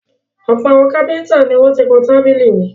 Ọ̀pọ̀ àwọn kápẹ́ńtà ni wọ́n ti kan tábìlì rí.